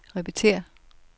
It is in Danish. repetér